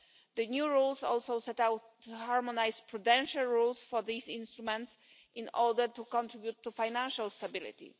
The new rules also set out to harmonise prudential rules for these instruments in order to contribute to financial stability.